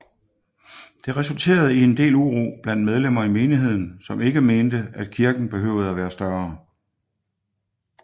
Det resulterede i en del uro blandt medlemmer i menigheden som ikke mente at kirken behøvede at være større